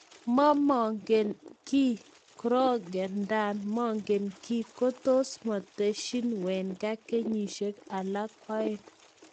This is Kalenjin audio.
momogen ki Kroenke nda mogen ki kotos motesyin wenger kenyisiek alak oeng.